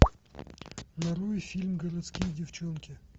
нарой фильм городские девчонки